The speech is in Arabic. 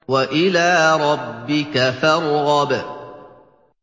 وَإِلَىٰ رَبِّكَ فَارْغَب